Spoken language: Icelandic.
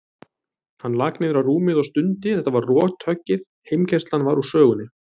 Hann lak niður á rúmið og stundi, þetta var rothöggið, heimkeyrslan var úr sögunni.